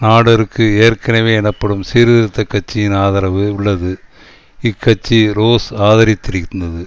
நாடெருக்கு ஏற்கனவே எனப்படும் சீர்திருத்த கட்சியின் ஆதரவு உள்ளது இக்கட்சி ரோஸ் ஆதரித்திருந்தது